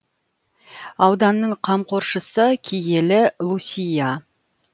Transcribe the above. ауданның қамқоршысы киелі лусия